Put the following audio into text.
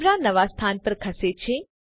કેમેરો નવા સ્થાન પર ખસે છે